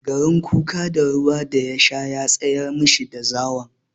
Garin kuka da ruwa da ya sha ya tsayar mashi da zawon.